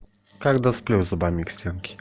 когда сплю зубами к стенке